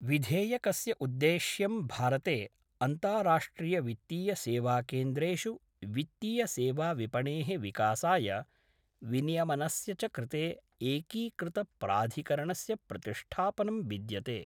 विधेयकस्य उद्देश्यं भारते अन्ताराष्ट्रियवित्तीयसेवाकेन्द्रेषु वित्तीयसेवाविपणेः विकासाय विनियमनस्य च कृते एकीकृत प्राधिकरणस्य प्रतिष्ठापनं विद्यते।